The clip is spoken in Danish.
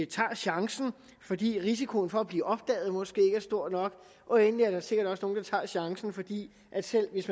tager chancen fordi risikoen for at blive opdaget måske ikke er stor nok og endelig er der sikkert også nogle der tager chancen fordi selv hvis